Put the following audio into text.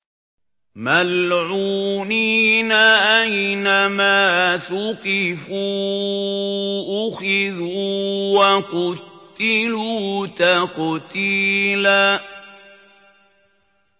مَّلْعُونِينَ ۖ أَيْنَمَا ثُقِفُوا أُخِذُوا وَقُتِّلُوا تَقْتِيلًا